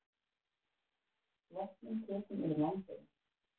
Loftmynd tekin yfir Landeyjum.